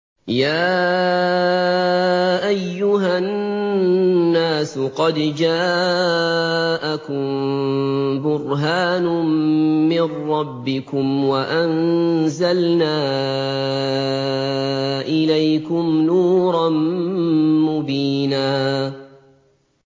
يَا أَيُّهَا النَّاسُ قَدْ جَاءَكُم بُرْهَانٌ مِّن رَّبِّكُمْ وَأَنزَلْنَا إِلَيْكُمْ نُورًا مُّبِينًا